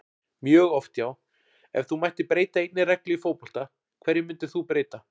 mjög oft já Ef þú mættir breyta einni reglu í fótbolta, hverju myndir þú breyta?